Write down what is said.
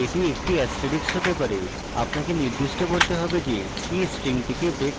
এটি যে কোনো চিহ্ন হতে পারে আপনাকে নির্দিষ্ট করতে হবে যে কি স্ট্রিংটিকে breaks করছে